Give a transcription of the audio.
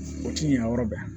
O ti ɲan yɔrɔ bɛɛ